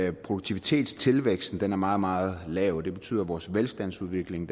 at produktivitetstilvæksten er meget meget lav det betyder at vores velstandsudvikling